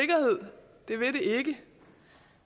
det vil det ikke